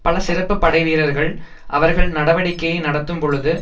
பல சிறப்பு படைவீரர்கள் அவர்கள் நடவடிக்கையை நடத்தும் பொழுது